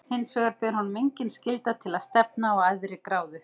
Hinsvegar ber honum engin skylda til að stefna á æðri gráðu.